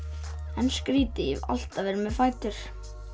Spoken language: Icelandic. en skrítið ég hef alltaf verið með fætur